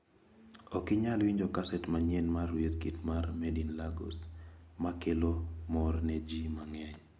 Ok inyal winjo kaset manyien mar Wizkid mar ' Made in Lagos' ma kelo mor ne ji mang`eny.